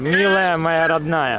Əzizim, doğmam.